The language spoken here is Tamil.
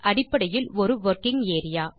அடிப்படையில் ஒரு வொர்க்கிங் ஏரியா